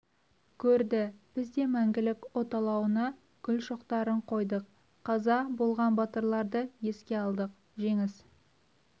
көрді біз де мәңгілік от алауына гүл шоқтарын қойдық қаза болған батырларды еске алдық жеңіс